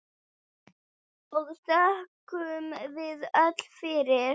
og þökkum við öll fyrir.